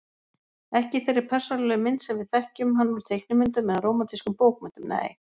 Ekki í þeirri persónulegu mynd sem við þekkjum hann úr teiknimyndum eða rómantískum bókmenntum, nei.